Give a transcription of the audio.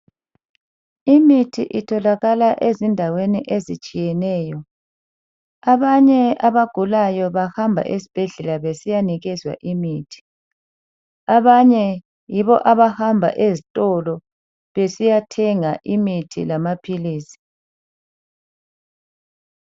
Imithi itholakala ezindaweni ezitshiyeneyo, abanye abagulayo bahamba esibhedlela besiyanikezwa imithi, abanye yibo abahamba ezitolo besiyathenga imithi lamaphilisi.